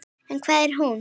En hvar er hún?